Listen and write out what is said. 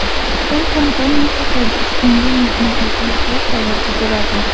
Xitoy kompaniyasi Tojikistonda neftni qayta ishlash zavodi quradi.